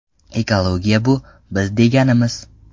Ekologiya bu – biz deganimiz.